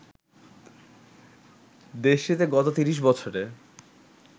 দেশটিতে গত ৩০ বছরে